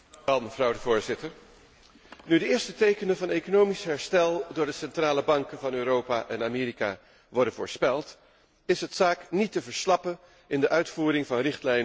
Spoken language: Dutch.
Nu de eerste tekenen van economisch herstel door de centrale banken van Europa en Amerika worden voorspeld, is het zaak niet te verslappen in de uitvoering van richtlijnen om een herhaling te voorkomen.